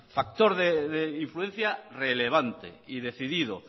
factor de influencia relevante y decidido